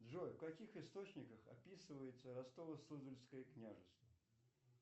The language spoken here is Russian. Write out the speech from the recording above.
джой в каких источниках описывается ростово суздальское княжество